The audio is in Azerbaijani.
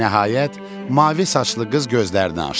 Nəhayət, mavi saçlı qız gözlərini açdı.